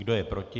Kdo je proti?